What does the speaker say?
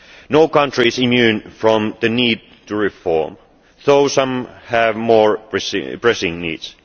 No country is immune from the need to reform, although some have more pressing needs.